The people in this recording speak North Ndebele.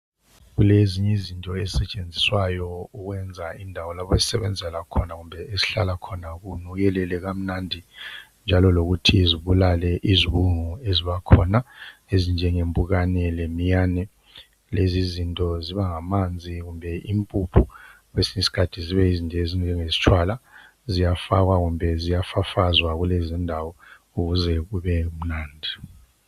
Kulezinye izinto ezisetshenziswayo ukwenza indawo lapha esisebenzela khona kumbe esihlala khona kunukelele kamnandi njalo lokuthi zibulale izibungu ezibakhona ezinjenge mpukane lemiyane. Lezizinto zibangamanzi kumbe impuphu kwesinye isikhathi zibe nje zinjengesitshwala. Ziyafakwa kumbe ziyafafazwa kulezindawo ukuze kube mnandi.